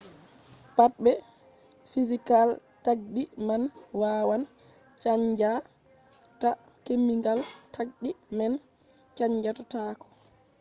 pat be fizical tagdi man wawan chanja ta kemikal tagdi man chanja taako